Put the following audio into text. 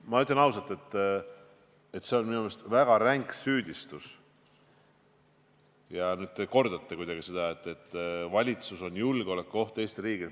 Ma ütlen ausalt, et see on minu meelest väga ränk süüdistus ja nüüd te kordate seda, et valitsus on julgeolekuoht Eesti riigile.